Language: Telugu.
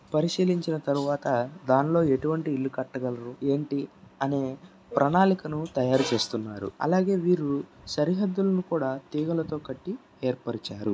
పరిశీలించించిన తర్వాత దానిలో ఎటు వంటి ఇల్లు కట్టగలరు. ఏంటి అనే పరణాళికను తయారు చేస్తున్నారు. అలాగే వీరు సరిహద్దులులును కూడా తీగలతో కట్టి ఏర్పరిచారు.